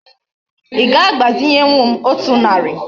Í ga agbazinyewu m otu nari?